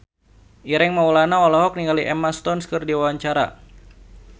Ireng Maulana olohok ningali Emma Stone keur diwawancara